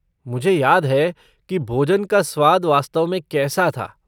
मुझे याद है कि भोजन का स्वाद वास्तव में कैसा था।